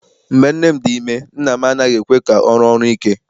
Mgbe nne m dị ime nna m anaghị ekwe ka ọ rụọ ọrụ ike.